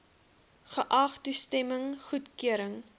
geag toestemming goedkeuring